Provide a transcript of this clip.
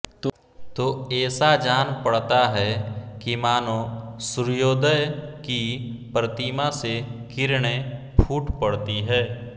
तो एसा जान पडता है कि मानो सूर्योदय की प्रतिमा से किरणे फूट पडती है